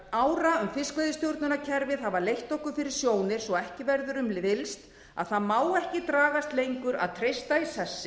ára um fiskveiðistjórnarkerfið hafa leitt okkur fyrir sjónir svo ekki verður um villst að það má ekki dragast lengur að treysta í